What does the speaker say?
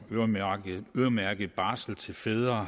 øremærket barsel til fædre